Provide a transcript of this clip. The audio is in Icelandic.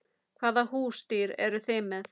Hvaða húsdýr eru þið með?